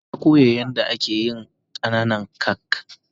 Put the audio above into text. Na koya yan da ake yin kananan kak.